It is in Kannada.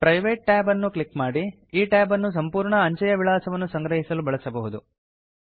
ಪ್ರೈವೇಟ್ ಟ್ಯಾಬ್ ಅನ್ನು ಕ್ಲಿಕ್ ಮಾಡಿ ಈ ಟ್ಯಾಬ್ ಅನ್ನು ಸಂಪೂರ್ಣ ಅಂಚೆಯ ವಿಳಾಸವನ್ನು ಸಂಗ್ರಹಿಸಲು ಬಳಸಬಹುದು